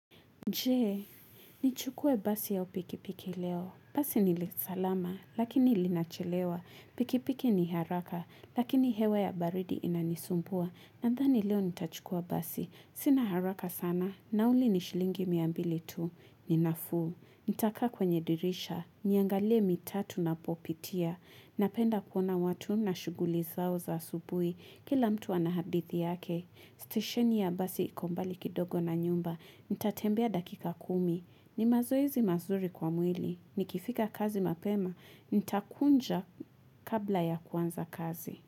Jee, nichukue basi au pikipiki leo. Basi nilisalama, lakini linachelewa. Pikipiki ni haraka, lakini hewa ya baridi inanisumbua. Nadhani leo nitachukua basi. Sina haraka sana. Nauli nishilingi miambili tu. Ninafuu. Nitakaa kwenye dirisha. Niangalie mitatu na popitia. Napenda kuona watu na shuguli zao za asubui. Kila mtu anahadithi yake. Station ya basi ikombali kidogo na nyumba, nitatembea dakika kumi, ni mazoezi mazuri kwa mwili, nikifika kazi mapema, nitakunja kabla ya kuanza kazi.